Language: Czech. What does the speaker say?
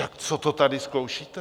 Tak co to tady zkoušíte?